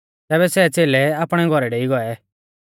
तैबै सै च़ेलै आपणै घौरै डेई गौऐ